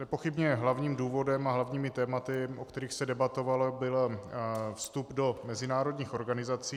Nepochybně hlavním důvodem a hlavními tématy, o kterých se debatovalo, byl vstup do mezinárodních organizací.